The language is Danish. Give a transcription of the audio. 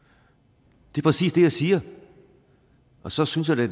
det er præcis det jeg siger og så synes jeg da